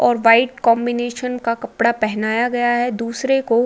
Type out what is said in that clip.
और white combination का कपड़ा पहनाया गया है। दूसरे को --